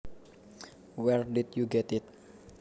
Where did you get it